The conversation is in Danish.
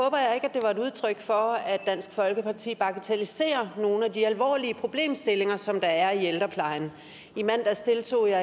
det var et udtryk for at dansk folkeparti bagatelliserer nogle af de alvorlige problemstillinger som der er i ældreplejen i mandags deltog jeg